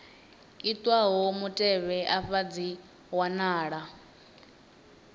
itwaho mutevhe afha dzi wanala